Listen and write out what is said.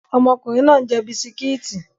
Ọmọkùnrin náà ń jẹ bisikíìtì